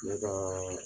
Ne ka